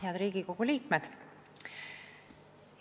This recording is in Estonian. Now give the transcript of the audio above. Head Riigikogu liikmed!